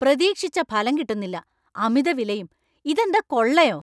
പ്രതീക്ഷിച്ച ഫലം കിട്ടുന്നില്ല. അമിത വിലയും. ഇതെന്താ കൊള്ളയോ?